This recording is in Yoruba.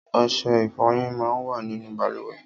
Ọṣẹ ìfọyín mà n wà ninú bàlùwẹ̀